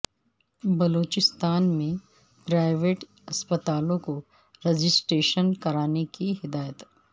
بلوچستان میں پرائیویٹ اسپتالوں کو رجسٹریشن کرانے کی ہدایت